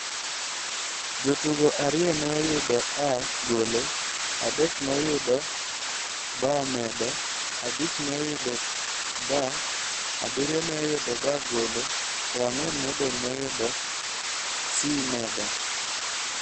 Jotugo ariyo ne oyudo A- (golo), adek ne oyudo B+ (medo), abich ne oyudo B, abiriyo ne oyudo B- (golo) to ang'wen modong' ne oyudo C+ (medo).